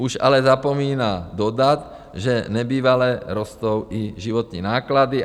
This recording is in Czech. Už ale zapomíná dodat, že nebývale rostou i životní náklady.